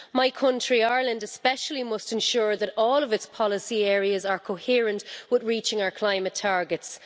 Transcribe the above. My country, Ireland, especially must ensure that all of its policy areas are coherent with reaching our climate targets.